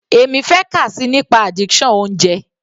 Èmi fẹ́ kà síi nípa addiction oúnjẹ.